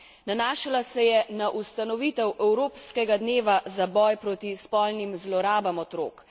Nanašala se je na ustanovitev evropskega dneva za boj proti spolnim zlorabam otrok.